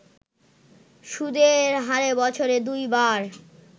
সুদের হারে বছরে দুইবার